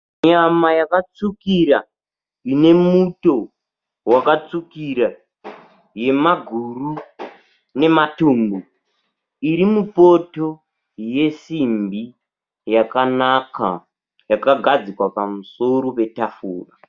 Nyama yakatsvukira ine muto wakatsvukira yemaguru nematumbu iri mupoto yesimbi yakanaka yakagadzikwa pamusoro petafura